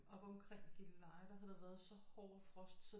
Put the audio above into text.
Oppe omkring Gilleleje der havde der været så hård frost så